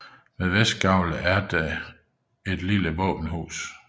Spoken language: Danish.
Ved vestgavlet er det et lille våbenhus